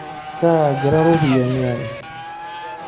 Kaagira ropiyani aek.